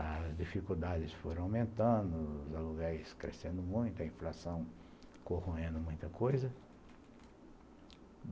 As dificuldades foram aumentando, os aluguéis crescendo muito, a inflação corroendo muita coisa.